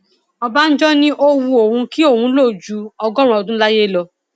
ọbànjọ ni ó wu òun kí òun lò ju ọgọrùnún ọdún láyé lọ